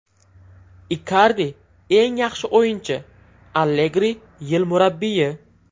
Ikardi eng yaxshi o‘yinchi, Allegri yil murabbiyi.